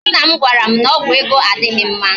Nna m gwara m na ọgwụ ego adịghị mma